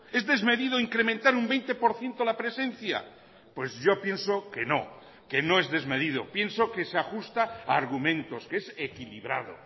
es desmedido incrementar un veinte por ciento la presencia pues yo pienso que no que no es desmedido pienso que se ajusta a argumentos que es equilibrado